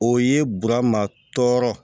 O ye burama tɔɔrɔ